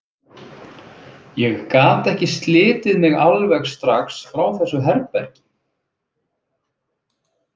Ég gat ekki slitið mig alveg strax frá þessu herbergi.